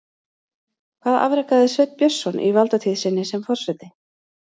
Hvað afrekaði Sveinn Björnsson í valdatíð sinni sem forseti?